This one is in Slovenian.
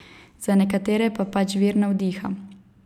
Za nekatere pa pač vir navdiha.